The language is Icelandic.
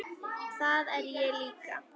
Það er ég líka